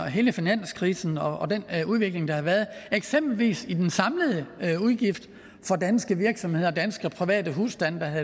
hele finanskrisen og den udvikling der har været eksempelvis i den samlede udgift for danske virksomheder og danske private husstande der har